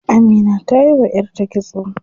Amina tayi wa yarta kitso.